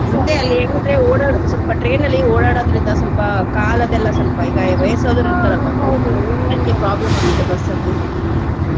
ಏನಂದ್ರೆ ಓಡಾಡೊ~ ಸ್ವಲ್ಪ train ಅಲ್ಲಿ ಓಡಾಡೊದ್ರಿಂದ ಸ್ವಲ್ಪ ಕಾಲ್ ಅದೆಲ್ಲಾ ಸ್ವಲ್ಪ ಈಗಾ ವಯಸ್ಸಾದವ್ರ್ problem ಆಗತ್ತೆ ಬಸ್ಸಲ್ಲಿ.